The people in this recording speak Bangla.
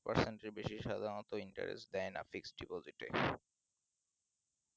persent এর বেশি সাধারণত interest দেয় না fixed deposit এ